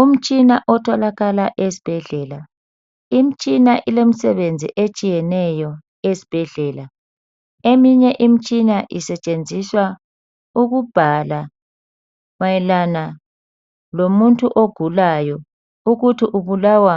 Umitshina otholakala esibhedlela imtshina ilemisebenzi etshiyeneyo esibhedlela eminye Imitshina isetshenziswa ukubhala mayelana lomuntu ogulayo ukuthi ubulawa